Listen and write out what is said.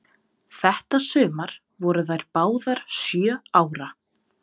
Þetta sumar voru þær báðar sjö ára.